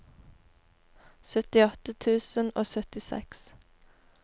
syttiåtte tusen og syttiseks